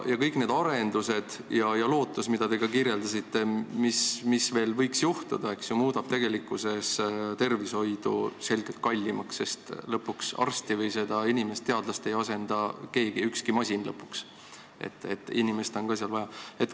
Kõik need arendused ja lootus teada saada, mis veel võiks juhtuda, nagu te kirjeldasite, muudab tervishoidu selgelt kallimaks, sest arsti või teadlast ei asenda lõpuks ükski masin, inimest on ikka vaja.